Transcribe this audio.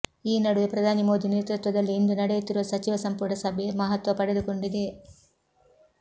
ಈ ನಡುವೆ ಪ್ರಧಾನಿ ಮೋದಿ ನೇತೃತ್ವದಲ್ಲಿ ಇಂದು ನಡೆಯುತ್ತಿರುವ ಸಚಿವ ಸಂಪುಟ ಸಭೆ ಮಹತ್ವ ಪಡೆದುಕೊಂಡಿದೆ